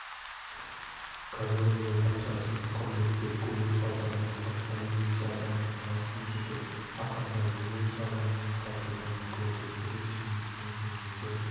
казонде патшасын құрметтеп көму салтанаты әлденеше адамның басын жұтып ақырында өзен табанынан қазылған көрдің бірнеше минуттан соң ізі